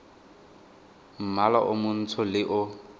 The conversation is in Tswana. mmala o montsho le o